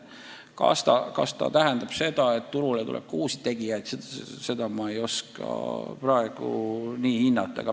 Kas see tähendab seda, et turule tuleb ka uusi tegijaid, seda ma ei oska praegu hinnata.